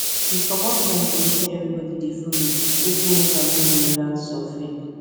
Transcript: he comot mind for wetin everybody dey follow wey fit make am no dey relax or fake